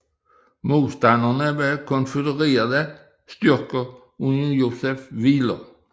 Modstanderne var konfødererede styrker under Joseph Wheeler